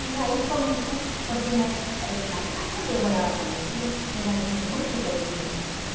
E aí começou, porque na es eh na casa onde eu morava com meus tios, era gente muito religiosa também.